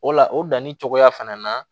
O la o danni cogoya fana na